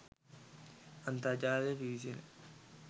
අන්තර්ජාලයට පිවිසෙන